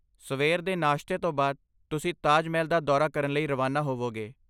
ਸਵੇਰ ਦੇ ਨਾਸ਼ਤੇ ਤੋਂ ਬਾਅਦ, ਤੁਸੀਂ ਤਾਜ ਮਹਿਲ ਦਾ ਦੌਰਾ ਕਰਨ ਲਈ ਰਵਾਨਾ ਹੋਵੋਗੇ